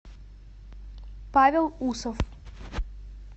павел усов